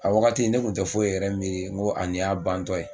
A wagati ne kun tɛ foyi yɛrɛ miiri n ko ni y'a bantɔ ye.